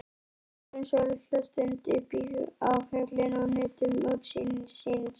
Við stóðum svolitla stund uppi á fjallinu og nutum útsýnisins.